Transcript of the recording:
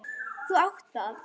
Þú átt það.